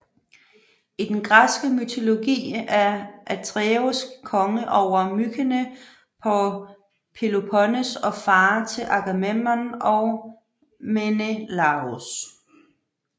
I den græske mytologi er Atreus konge over Mykene på Peloponnes og far til Agamemnon og Menelaos